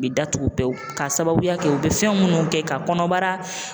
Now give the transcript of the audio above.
U bɛ datugu pewu k'asababuya kɛ, u bɛ fɛn minnu kɛ ka kɔnɔbara